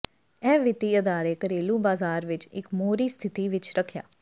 ਇਹ ਵਿੱਤੀ ਅਦਾਰੇ ਘਰੇਲੂ ਬਾਜ਼ਾਰ ਵਿਚ ਇੱਕ ਮੋਹਰੀ ਸਥਿਤੀ ਵਿੱਚ ਰੱਖਿਆ